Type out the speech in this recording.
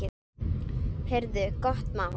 Heyrðu, gott mál.